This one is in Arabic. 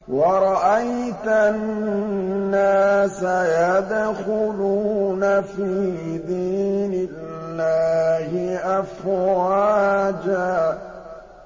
وَرَأَيْتَ النَّاسَ يَدْخُلُونَ فِي دِينِ اللَّهِ أَفْوَاجًا